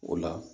O la